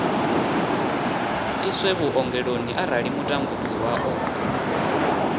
iswe vhuongeloni arali mutambudziwa o